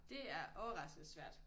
Det er overraskende svært